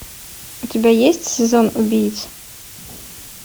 у тебя есть сезон убийц